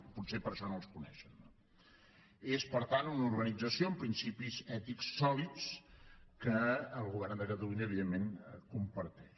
potser per això no els coneixen no és per tant una organització amb principis ètics sòlids que el govern de catalunya evidentment comparteix